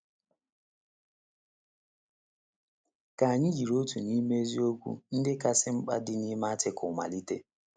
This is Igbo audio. Ka anyị jiri otu n’ime eziokwu ndị kasị mkpa dị n’ime Artịkụlụ malite.